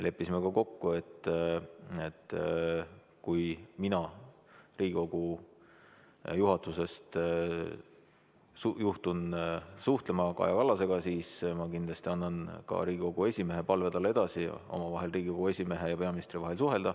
Leppisime ka kokku, et kui mina Riigikogu juhatusest juhtun suhtlema Kaja Kallasega, siis ma kindlasti annan talle edasi Riigikogu esimehe palve, et Riigikogu esimees ja peaminister omavahel suhtleksid.